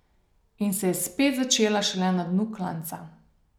In se je spet začela šele na dnu klanca.